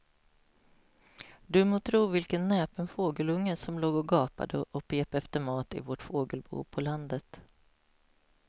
Du må tro vilken näpen fågelunge som låg och gapade och pep efter mat i vårt fågelbo på landet.